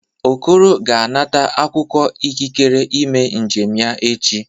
Okoro ga-anata akwụkwọ ikikere ime njem ya echi.